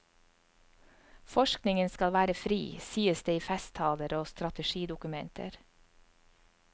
Forskningen skal være fri, sies det i festtaler og strategidokumenter.